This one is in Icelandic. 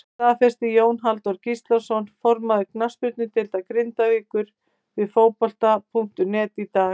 Þetta staðfesti Jón Halldór Gíslason formaður knattspyrnudeildar Grindavíkur við Fótbolta.net í dag.